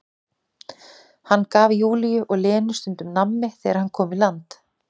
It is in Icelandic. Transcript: Hann gaf Júlíu og Lenu stundum nammi þegar hann kom í land.